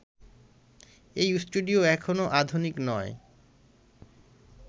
এই স্টুডিও এখনও আধুনিক নয়